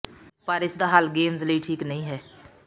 ਪਰ ਇਸ ਦਾ ਹੱਲ ਗੇਮਜ਼ ਲਈ ਠੀਕ ਨਹੀ ਹੈ